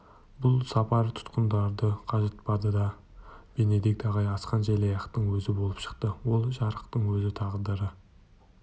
бұл сапар тұтқындарды қажытпады да бенедикт ағай асқан желаяқтың өзі болып шықты ол жарықтық өз тағдыры